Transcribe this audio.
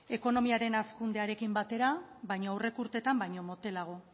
ekonomiaren hazkundearekin batera baina aurreko urteetan baino motelago